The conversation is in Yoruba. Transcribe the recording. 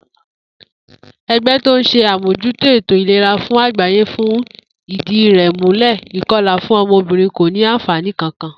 E̩gbé̩ tó ń s̩e àmòjútó ètò ìlera fún àgbáyé fi ìdí rè̩ múlè̩ ìko̩là fún o̩mo̩bìnrin kò ní àǹfàní kankan